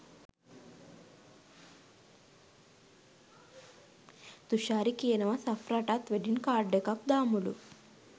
තුෂාරි කියනවා සෆ්රටත් wedding card එකක් දාමුලු.